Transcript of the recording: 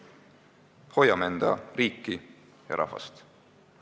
Hoiame oma riiki ja rahvast!